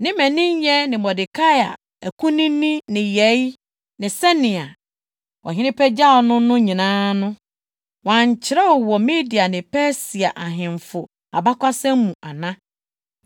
Ne mmaninyɛ ne Mordekai akunini nneyɛe ne sɛnea ɔhene pagyaw no no nyinaa no, wɔankyerɛw wɔ Media ne Persia ahemfo abakɔsɛm mu ana?